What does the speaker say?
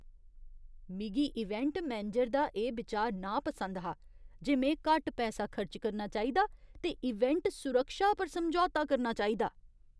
मिगी event manager दा एह् बिचार नापसंद हा जे में घट्ट पैसा खर्च करना चाहिदा ते इवेंट सुरक्षा पर समझौता करना चाहिदा।